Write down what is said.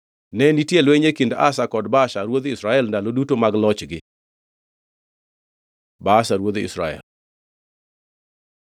Ne nitie lweny e kind Asa kod Baasha ruodh Israel ndalo duto mag lochgi. Baasha ruodh Israel